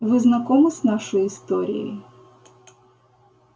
вы знакомы с нашей историей